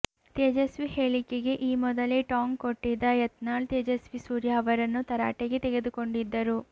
ತೇಜಸ್ವಿ ಹೇಳಿಕೆಗೆ ಈ ಮೊದಲೇ ಟಾಂಗ್ ಕೊಟ್ಟಿದ್ದ ಯತ್ನಾಳ್ ತೇಜಸ್ವಿ ಸೂರ್ಯ ಅವರನ್ನು ತರಾಟೆಗೆ ತೆಗೆದುಕೊಂಡಿದ್ದರು